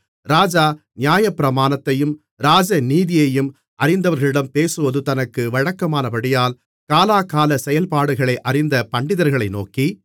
ராஜா நியாயப்பிரமாணத்தையும் ராஜநீதியையும் அறிந்தவர்களிடம் பேசுவது தனக்கு வழக்கமானபடியால் காலாகால செயல்பாடுகளை அறிந்த பண்டிதர்களை நோக்கி